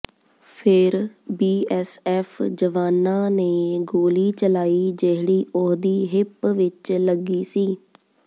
ਫੇਰ ਬੀਐੱਸਐੱਫ ਜਵਾਨਾਂ ਨੇ ਗੋਲੀ ਚਲਾਈ ਜਿਹੜੀ ਉਹਦੀ ਹਿਪ ਵਿਚ ਲੱਗੀ ਸੀ